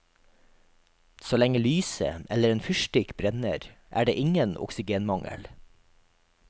Så lenge lyset eller en fyrstikk brenner, er det ingen oksygenmangel.